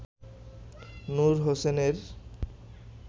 নূর হোসেনের